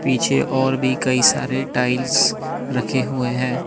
पीछे और भी कई सारे टाइल्स रखे हुए हैं।